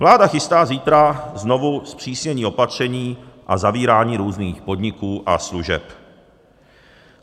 Vláda chystá zítra znovu zpřísnění patření a zavírání různých podniků a služeb.